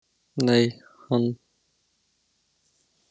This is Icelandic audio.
Nei en hann vill aldrei leika með öðrum strákum.